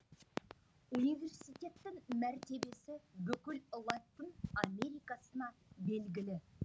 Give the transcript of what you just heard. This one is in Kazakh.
университеттің мәртебесі бүкіл латын америкасына белгілі